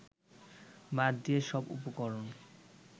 বাদ দিয়ে সব উপকরণ